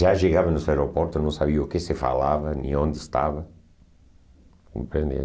Já chegava nos aeroportos, não sabia o que se falava, nem onde estava. Compreende?